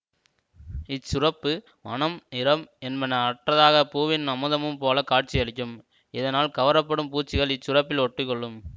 இச்சுரப்பு மணம்நிறம் என்பன அற்றதாக பூவின் அமுதம் போல காட்சியளிக்கும்இதனால் கவரப்படும் பூச்சிகள் இச்சுரப்பில் ஒட்டிக்கொள்ளும்